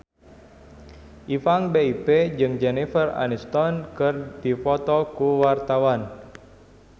Ipank BIP jeung Jennifer Aniston keur dipoto ku wartawan